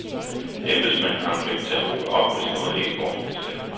Embedsmænd har en pligt til at råbe op, hvis noget ikke går, som det skal.